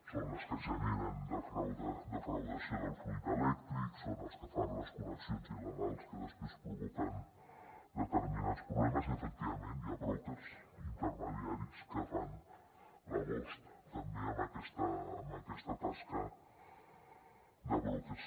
són les que generen defraudació del fluid elèctric són els que fan les connexions illegals que després provoquen determinats problemes i efectivament hi ha brokers intermediaris que fan l’agost també amb aquesta tasca de brokers